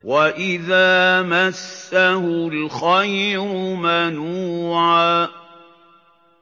وَإِذَا مَسَّهُ الْخَيْرُ مَنُوعًا